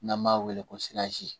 N'an b'a weele ko siyazi